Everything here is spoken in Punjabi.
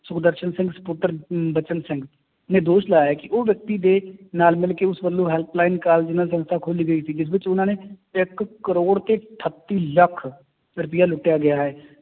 ਸੁਖਦਰਸ਼ਨ ਸਿੰਘ ਸਪੁੱਤਰ ਅਮ ਬਚਨ ਸਿੰਘ ਨੇ ਦੋਸ਼ ਲਾਇਆ ਹੈ ਕਿ ਉਹ ਵਿਅਕਤੀ ਦੇ ਨਾਲ ਮਿਲਕੇ ਉਸ ਵੱਲੋਂ help line ਦੇ ਨਾਲ ਸੰਸਥਾ ਖੋਲੀ ਗਈ ਸੀ ਜਿਸ ਵਿੱਚ ਉਹਨਾਂ ਨੇ ਇੱਕ ਕਰੌੜ ਤੇ ਅਠੱਤੀ ਲੱਖ ਰੁਪਇਆ ਲੁੱਟਿਆ ਗਿਆ ਹੈ